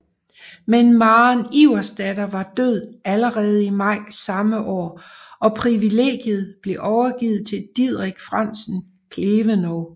Men Maren Iversdatter var død allerede i maj samme år og privilegiet blev overgivet til Diderik Frandsen Klevenow